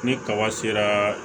Ni kaba sera